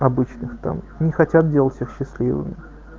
обычных там не хотят делать всех счастливыми